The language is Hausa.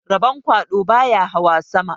Rabon kwaɗo baya hawa sama